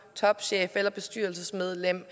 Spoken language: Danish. topchef eller bestyrelsesmedlem